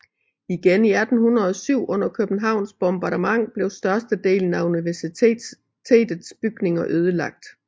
Igen i 1807 under Københavns bombardement blev størstedelen af universitetets bygninger ødelagt